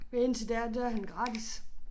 Og indtil da der er han gratis